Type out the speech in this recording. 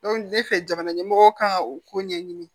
ne fɛ jamana ɲɛmɔgɔ ka u ko ɲɛɲini